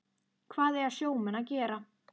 Hvað eiga sjómenn að gera?